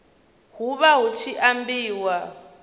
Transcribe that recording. hu vha hu tshi ambiwa